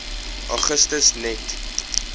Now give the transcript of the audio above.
augustus net